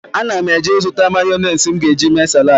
Ana m eje ịzụta mayọnesị m ga-eji mee saladị.